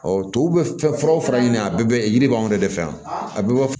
tubabu bɛ fɛn furaw fara ɲini a bɛɛ bɛ yiri b'anw de fɛ yan a bɛɛ bɛ